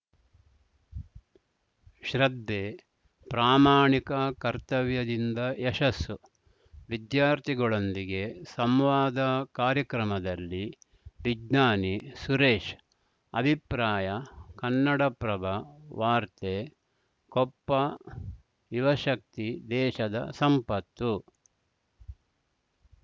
ಶ್ರದ್ಧೆ ಪ್ರಾಮಾಣಿಕ ಕರ್ತವ್ಯದಿಂದ ಯಶಸ್ಸು ವಿದ್ಯಾರ್ಥಿಗಳೊಂದಿಗೆ ಸಂವಾದ ಕಾರ್ಯಕ್ರಮದಲ್ಲಿ ವಿಜ್ಞಾನಿ ಸುರೇಶ್‌ ಅಭಿಪ್ರಾಯ ಕನ್ನಡಪ್ರಭ ವಾರ್ತೆ ಕೊಪ್ಪ ಯುವಶಕ್ತಿ ದೇಶದ ಸಂಪತ್ತು